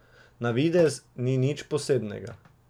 Na videz ni nič posebnega.